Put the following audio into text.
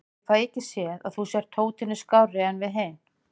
Ég fæ ekki séð að þú sért hótinu skárri en við hinir.